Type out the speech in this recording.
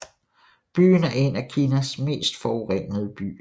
Byen er en af Kinas mest forurenede byer